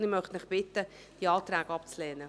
Ich möchte Sie bitten, diese Anträge abzulehnen.